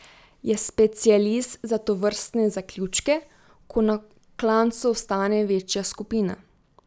Je specialist za tovrstne zaključke, ko na klancu ostane večja skupina.